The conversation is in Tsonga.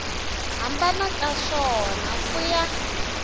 hambana ka swona ku ya